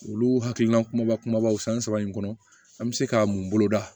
Olu hakilina kumaba kumabaw san saba in kɔnɔ an bɛ se ka mun boloda